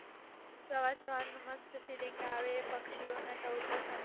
સવાર સવાર માં મસ્ત feeling આવે પક્ષીઓના ટહુકો સંભળાય